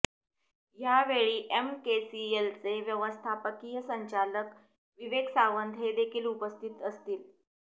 यावेळीएमकेसीएलचे व्यवस्थापकीय संचालक विवेक सावंत हे देखील उपस्थित असतील